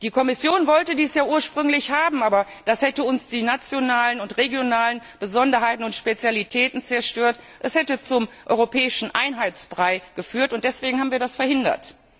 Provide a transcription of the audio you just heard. Die Kommission wollte dies ja ursprünglich haben, aber das hätte uns die nationalen und regionalen Besonderheiten und Spezialitäten zerstört, es hätte zum europäischen Einheitsbrei geführt, und deswegen haben wir das verhindert.